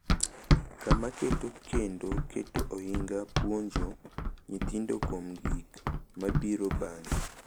Kama keto kendo keto ohinga puonjo nyithindo kuom gik mabiro bang’e